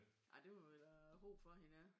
Ja det må vi da håbe for hende ja